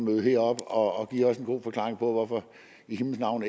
her og give os en god forklaring på hvorfor i himlens navn